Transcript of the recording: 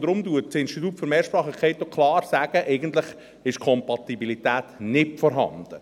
Deshalb sagt das Institut für Mehrsprachigkeit auch klar, eigentlich sei die Kompatibilität nicht vorhanden.